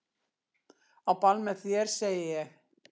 Á ball með þér segi ég.